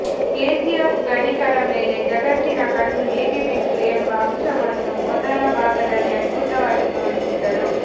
KGF ಗಣಿಗಳ ಮೇಲೆ ಜಗತ್ತಿನ ಕಣ್ಣು ಹೇಗೆ ಬಿತ್ತು ಎಂಬ ಅಂಶವನ್ನು ಮೊದಲ ಭಾಗದಲ್ಲಿ ಅದ್ಭುತವಾಗಿ ತೋರಿಸಿದ್ದರು